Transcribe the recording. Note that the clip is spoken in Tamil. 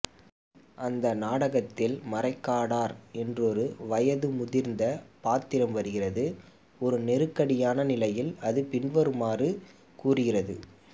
அந்த நாடகத்தில் மறைக்காடர் என்றொரு வயது முதிர்ந்த பாத்திரம் வருகிறதுஒரு நெருக்கடியான நிலையில் அது பின்வருமாறு கூறுகிறது